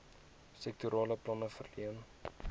sektorale planne verleen